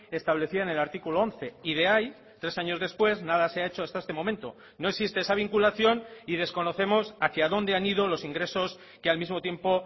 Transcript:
establecida en el artículo once y de ahí tres años después nada se ha hecho hasta este momento no existe esa vinculación y desconocemos hacia donde han ido los ingresos que al mismo tiempo